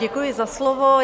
Děkuji za slovo.